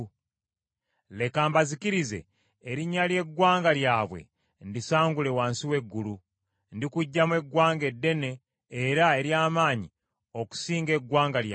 Leka mbazikirize, erinnya ly’eggwanga lyabwe ndisangulewo wansi w’eggulu. Ndikuggyamu eggwanga eddene era ery’amaanyi okusinga eggwanga lyabwe.”